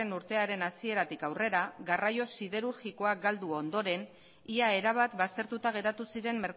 urtearen hasieratik aurrera garraio siderurgikoa galdu ondoren ia erabat baztertuta geratu ziren